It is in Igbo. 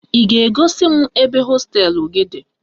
Ị ga-egosi m ebe hosteelụ gị dị?